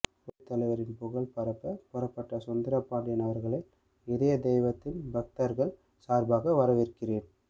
புரட்சித்தலைவரின் புகழ் பரப்ப புறப்பட்ட சுந்தரபாண்டியன் அவர்களை இதய தெய்வத்தின் பக்தர்கள் சார்பாக வரவேற்கிறேன்